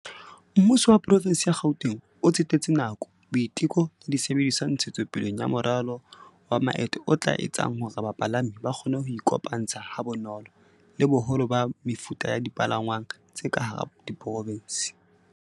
"Mmuso wa Porofenseng ya Gauteng o tsetetse nako, boiteko le disebediswa ntshetsopeleng ya moralo wa maeto o tla etsang hore bapalami ba kgone ho iko pantsha ha bonolo le boholo ba mefuta ya dipalangwang tse ka hara porofense."